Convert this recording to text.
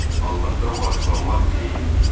Allahdan bağışlanmaq diləyin.